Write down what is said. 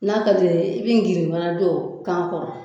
N'a ka di ye i bɛ girin fana don kan kɔrɔ